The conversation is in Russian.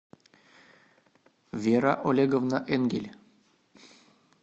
вера олеговна энгель